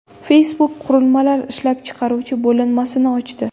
Facebook qurilmalar ishlab chiqaruvchi bo‘linmasini ochdi.